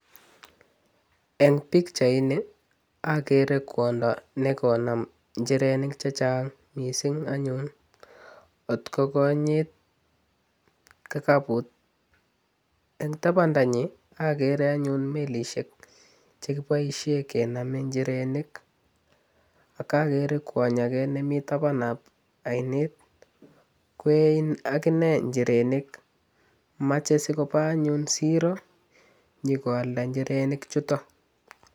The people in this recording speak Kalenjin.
Eng pikchaini akere kwondo ne konam njirenik che chang mising anyun kot ko konyit kikaput. Eng tabandanyi akere anyun melisiek che kiboisie kename njirenik ak akere kwony ake nemi tabanab ainet kwee in akine njirenik mache sikoba anyun siro nyikoalda njirenik chuto.